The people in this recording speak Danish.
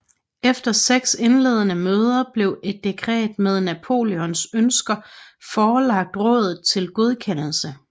Efter seks indledende møder blev et dekret med Napoleons ønsker forelagt rådet til godkendelse